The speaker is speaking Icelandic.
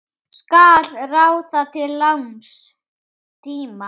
Skal ráða til langs tíma?